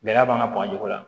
Gɛlɛya b'an ka baganw la